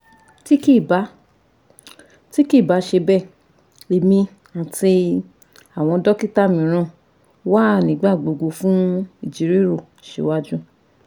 Ti kii ba Ti kii ba ṣe bẹ, Emi, ati awọn dokita miiran wa nigbagbogbo fun ijiroro siwaju